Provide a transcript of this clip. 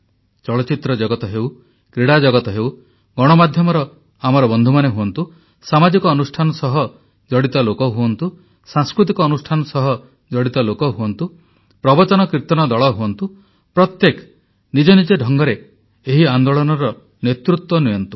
ଚଳଚ୍ଚିତ୍ର ଜଗତ ହେଉ କ୍ରୀଡ଼ା ଜଗତ ହେଉ ଗଣମାଧ୍ୟମର ଆମର ବନ୍ଧୁମାନେ ହୁଅନ୍ତୁ ସାମାଜିକ ଅନୁଷ୍ଠାନ ସହ ଜଡ଼ିତ ଲୋକ ହୁଅନ୍ତୁ ସାଂସ୍କୃତିକ ଅନୁଷ୍ଠାନ ସହ ଜଡ଼ିତ ଲୋକ ହୁଅନ୍ତୁ ପ୍ରବଚନକୀର୍ତନ ଦଳ ହୁଅନ୍ତୁ ପ୍ରତ୍ୟେକ ନିଜ ନିଜ ଢଙ୍ଗରେ ଏହି ଆନ୍ଦୋଳନର ନେତୃତ୍ୱ ନିଅନ୍ତୁ